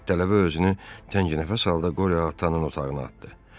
Tələbə özünü tənginəfəs halda Qore ataın otağına atdı.